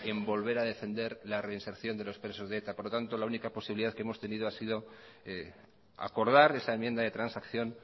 en volver a defender la reinserción de los presos de eta por lo tanto la única posibilidad que hemos tenido es acordar esa enmienda de transacción